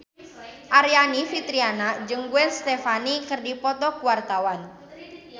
Aryani Fitriana jeung Gwen Stefani keur dipoto ku wartawan